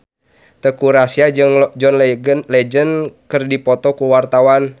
Teuku Rassya jeung John Legend keur dipoto ku wartawan